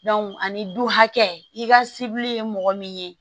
ani du hakɛ i ka sebili ye mɔgɔ min ye